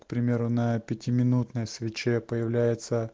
примерно на пяти минутной свече появляется